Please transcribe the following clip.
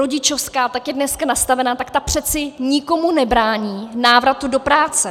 Rodičovská, jak je dnes nastavena, tak ta přeci nikomu nebrání návratu do práce.